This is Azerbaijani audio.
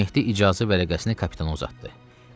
Mehdi icazə vərəqəsini kapitan uzatdı.